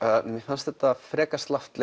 mér fannst þetta frekar slappt